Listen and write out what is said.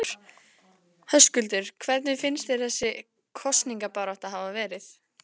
Höskuldur: Hvernig finnst þér þessi kosningabarátta hafa verið?